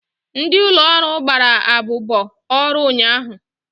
Ndị ụlọ ọrụ gbara abụbọ ọrụ ụnyaahụ.